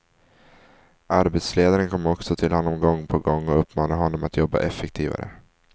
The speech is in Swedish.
Arbetsledaren kom också till honom gång på gång och uppmanade honom att jobba effektivare.